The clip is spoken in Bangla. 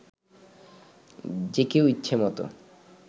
যে কেউ ইচ্ছেমতো